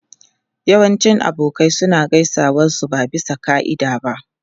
Yawancin abokai suna gaisuwa su ba bisa ka'ida ba.